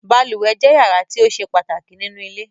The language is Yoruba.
Balùwẹ̀ jẹ́ yàrá tí ó ṣe pàtàkì nínú ilé